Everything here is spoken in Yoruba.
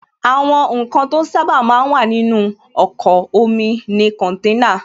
Àwọn ǹkan to sábà máa ń wà nínú ọkọ̀ omi ni kọ̀nténà